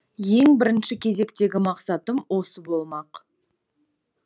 ең бірінші кезектегі мақсатым осы болмақ